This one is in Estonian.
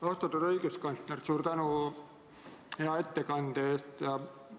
Austatud õiguskantsler, suur tänu hea ettekande eest!